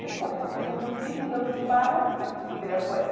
Depois do Tucuruvi, mudamos para o Ibirapuera.